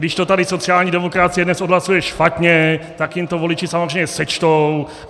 Když to tady sociální demokracie dnes odhlasuje špatně, tak jim to voliči samozřejmě sečtou.